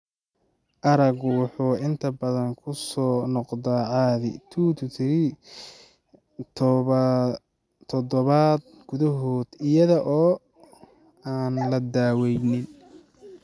Araggu wuxuu inta badan ku soo noqdaa caadi 2-3 toddobaad gudahood iyada oo aan la daaweynin.